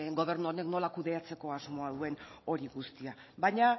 gobernu honek nola kudeatzeko asmoa duen hori guztia baina